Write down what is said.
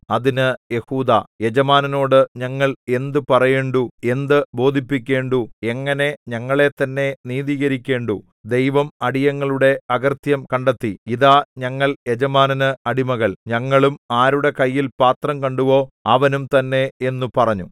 അതിന് യെഹൂദാ യജമാനനോടു ഞങ്ങൾ എന്ത് പറയേണ്ടു എന്ത് ബോധിപ്പിക്കേണ്ടു എങ്ങനെ ഞങ്ങളെത്തന്നെ നീതീകരിക്കേണ്ടു ദൈവം അടിയങ്ങളുടെ അകൃത്യം കണ്ടെത്തി ഇതാ ഞങ്ങൾ യജമാനന് അടിമകൾ ഞങ്ങളും ആരുടെ കയ്യിൽ പാത്രം കണ്ടുവോ അവനും തന്നെ എന്നു പറഞ്ഞു